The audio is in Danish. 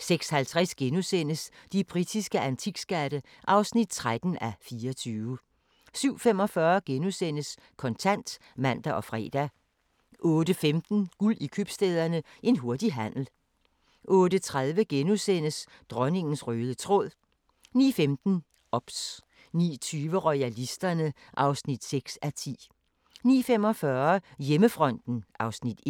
06:50: De britiske antikskatte (13:24)* 07:45: Kontant *(man og fre) 08:15: Guld i Købstæderne – en hurtig handel 08:30: Dronningens røde tråd * 09:15: OBS 09:20: Royalisterne (6:10) 09:45: Hjemmefronten (Afs. 1)